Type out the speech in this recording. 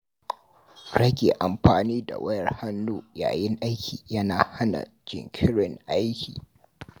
Rage amfani da wayar hannu yayin aiki yana hana jinkirin aiki.